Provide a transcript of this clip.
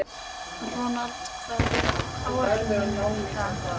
Ronald, hvað er á áætluninni minni í dag?